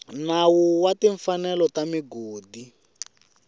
nawu wa timfanelo ta migodi